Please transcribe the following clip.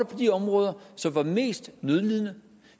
på de områder som var mest nødlidende